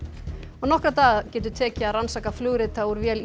nokkra daga getur tekið að rannsaka flugrita úr vél